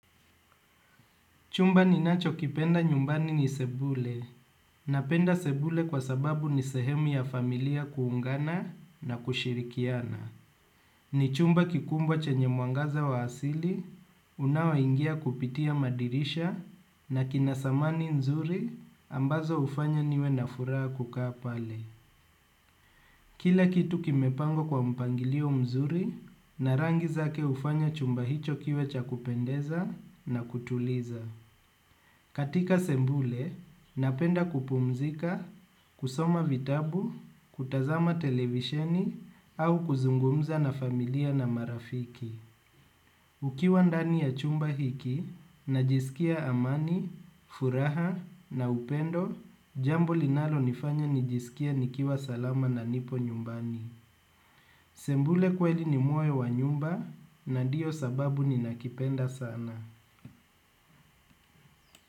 Chumba ni nacho kipenda nyumbani ni sebule napenda sebule kwa sababu ni sehemu ya familia kuungana na kushirikiana. Ni chumba kikumbwa chenye mwangaza wa asili, unao ingia kupitia madirisha na kinasamani nzuri ambazo hufanya niwe na furaha kukaa pale. Kila kitu kimepangww kwa mpangilio mzuri na rangi zake hufanya chumba hicho kiwe cha kupendeza na kutuliza. Katika sembule, napenda kupumzika, kusoma vitabu, kutazama televisheni au kuzungumza na familia na marafiki. Ukiwa ndani ya chumba hiki, najisikia amani, furaha na upendo, jambo linalo nifanya nijisikie nikiwa salama na nipo nyumbani. Sembule kweli ni moyo wa nyumba na ndio sababu ni nakipenda sana.